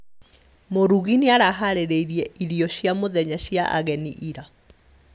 Mũrugi nĩaraharĩirie irio cia mũthenya cia ageni ira